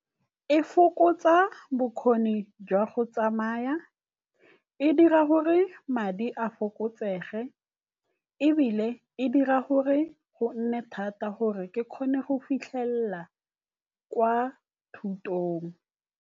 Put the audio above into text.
E fokotsa bokgoni jwa go tsamaya, e dira gore madi a fokotsege ebile e dira gore go nne thata gore ke kgone go fitlhelela kwa thutong.